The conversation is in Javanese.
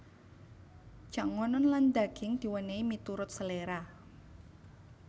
Jangonon lan daging diwènèhi miturut seléra